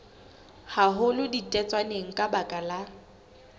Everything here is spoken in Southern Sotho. haholo ditetswaneng ka baka la